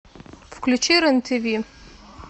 включи рен тв